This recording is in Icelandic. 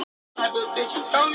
Þetta verði að rannsaka betur.